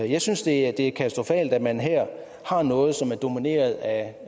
jeg synes det er katastrofalt at man her har noget som er domineret af